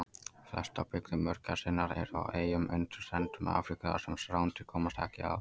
Flestar byggðir mörgæsarinnar eru á eyjum undan ströndum Afríku þar sem rándýr komast ekki að.